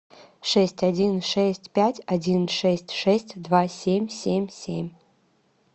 шесть один шесть пять один шесть шесть два семь семь семь